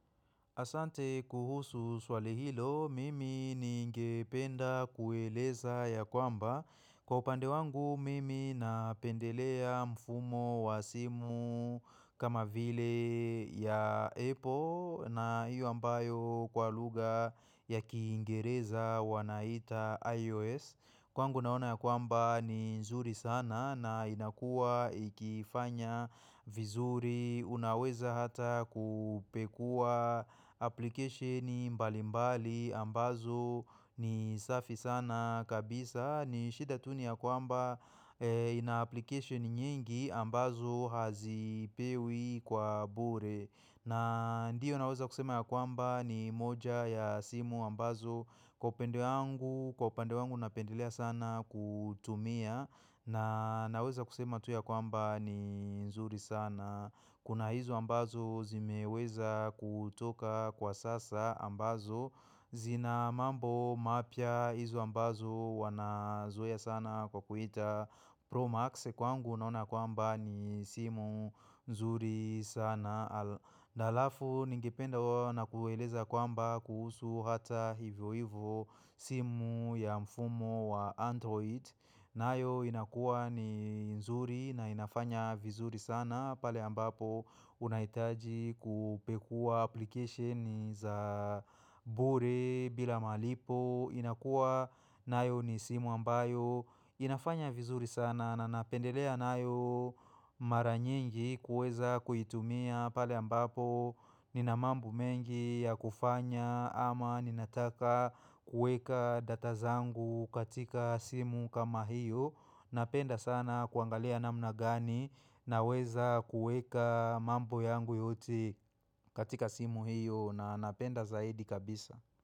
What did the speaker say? Asante kuhusu swali hilo, mimi ningependa kueleza ya kwamba. Kwa upande wangu, mimi napendelea mfumo wa simu kama vile ya Apple na iyo ambayo kwa lugha ya kiingereza wanaita iOS. Kwangu naona ya kwamba ni nzuri sana na inakua ikifanya vizuri, unaweza hata kupekuwa application mbali mbali ambazo ni safi sana kabisa. Ni shida tu niya kwamba ina application nyingi ambazo hazipewi kwa bure. Na ndio naweza kusema ya kwamba ni moja ya simu ambazo kwa upende wangu, kwa upande wangu napendelea sana kutumia na naweza kusema tu ya kwamba ni nzuri sana. Kuna hizo ambazo zimeweza kutoka kwa sasa ambazo zina mambo mapya hizo ambazo wanazoea sana kwa kuita Pro Max kwangu naona ya kwamba ni simu nzuri sana. Na halafu ningependa kuwa nakueleza kwamba kuhusu hata hivyo hivyo simu ya mfumo wa Android. Nayo inakuwa ni nzuri na inafanya vizuri sana pale ambapo unahitaji kupekuwa application za bure bila malipo. Inakua nayo ni simu ambayo inafanya vizuri sana na napendelea nayo mara nyingi kuweza kuitumia pale ambapo. Nina mambo mengi ya kufanya ama ninataka kueka data zangu katika simu kama hiyo. Napenda sana kuangalia namna gani naweza kuweka mambo yangu yote katika simu hiyo na napenda zaidi kabisa.